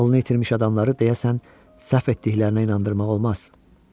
Ağlını itirmiş adamları deyəsən səhv etdiklərinə inandırmaq olmaz.